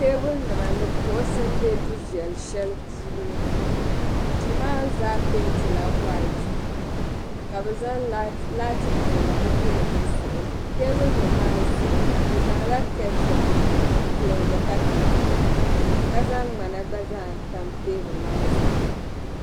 Teebulinima ni kuɣisi m-be du viɛl'shɛli puuni duu maa zaa peenti la "white" ka bɛ zaŋ laati viɛla n yili di zuɣu teebuli nim maa zuɣu bɛ zaŋ la kettins m-plorgi ka tamka zaŋ ŋmana gba zaa n tam teebuli maa zuɣu